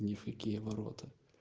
ни в какие ворота